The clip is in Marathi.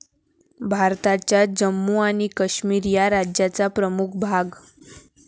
भारताच्या जम्मू आणि काश्मीर या राज्याचा प्रमुख भाग.